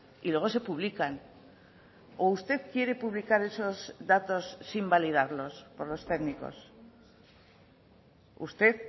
y luego se publican o usted quiere publicar esos datos sin validarlos por los técnicos usted